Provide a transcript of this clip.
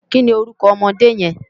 Kini órúkò òmòdé yèn?